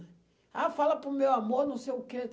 Ah, fala para o meu amor, não sei o quê.